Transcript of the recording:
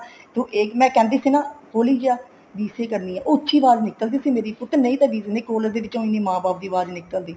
ਤੂੰ ਮੈਂ ਕਹਿੰਦੀ ਸੀ ਨਾ ਹੋਲੀ ਜਾ BCA ਕਰਨੀ ਆ ਉਹ ਉੱਚੀ ਆਵਾਜ ਨਿਕਲਦੀ ਸੀ ਮੇਰੀ ਨਹੀਂ ਤਾਂ ਕੋਈ collage ਦੇ ਵਿੱਚ ਮਾਂ ਬਾਪ ਦੀ ਆਵਾਜ ਨੀ ਨਿਕਲਦੀ